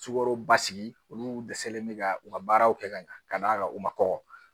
Sukarobasigi olu dɛsɛlen bɛ ka u ka baaraw kɛ ka ɲa ka d'a kan u ma kɔkɔ